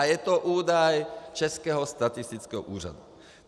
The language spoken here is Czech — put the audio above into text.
A je to údaj Českého statistického úřadu.